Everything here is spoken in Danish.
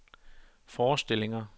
forestillinger